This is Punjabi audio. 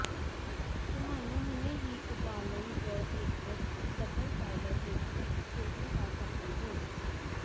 ਤੁਹਾਨੂੰ ਹੁਣੇ ਹੀ ਉਬਾਲਣ ਜ ਇੱਕ ਡਬਲ ਬਾਇਲਰ ਵਿੱਚ ਇੱਕ ਭੋਜਨ ਕਰ ਸਕਦੇ ਹੋ